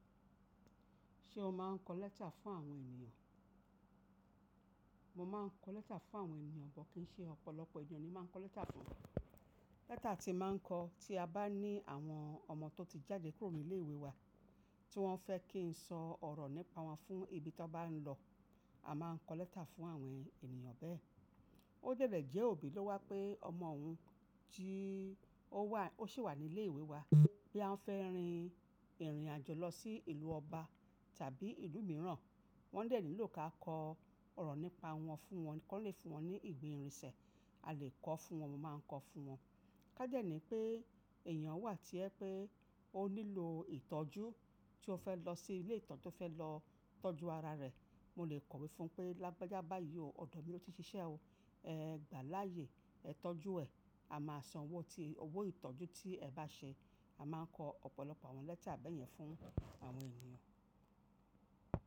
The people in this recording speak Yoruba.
Ṣé o máa ń kọ lẹ́tà fún àwọn ènìyàn? Mo máa ń kọ lẹ́tà fún àwọn ènìyàn, bọ̀kínṣí ọ̀pọ̀lọpọ̀ èèyàn ni máa ń kọ lẹ́tà fún. Lẹ́tà tí máa ń kọ tí a bá ní àwọn ọmọ tó ti jáde kúrò ní ilé ìwé wa, tí wọ́n fẹ́ kí n sọ ọ̀rọ̀ nípa wọn fún ibi tí wọ́n bá ń lọ, a máa ń kọ lẹ́tà fún àwọn ènìyàn bẹ́ẹ̀. Ó dẹ̀dẹ̀ jẹ́ òbí lọ́wọ́ pé ọmọ òun tí ó wà, ó sì wà ní ilé ìwé wa, boya ń fẹ́ rin ìrìnàjò lọ sí ìlú ọba tàbí ìlú mìíràn, wọ́n dẹ̀ nílò ká kọ ọ̀rọ̀ nípa wọn fún wọn, kí wọ́n lè fún wọn ní ìwé ìrìnsẹ̀, a lè kọ fún wọn, mo máa ń kọ fún wọn. Ká dẹ̀ ní pé èèyàn wà tí ẹ pé ó nílò ìtọ́jú, tí ó fẹ́ lọ sí ilé ìtọ́jú tí ó fẹ́ lọ tọ́jú ara rẹ̀, mo lè kọ̀wé fún un pé, "Lágbájá bá yí ò, ọ̀dọ̀ mi ló ti ṣiṣẹ́ o. Ẹ gbà láàyè, ẹ tọ́jú ẹ̀, a máa san owó tí, owó ìtọ́jú tí ẹ bá ṣe." A máa ń kọ ọ̀pọ̀lọpọ̀ àwọn lẹ́tà bẹ́ẹ̀ yẹn fún àwọn ènìyàn.